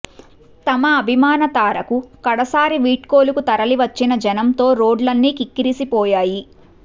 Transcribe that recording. తమ అభిమాన తారకు కడసారి వీడ్కోలుకు తరలివచ్చిన జనంతో రోడ్లన్నీ కిక్కిరిసిపోయాయి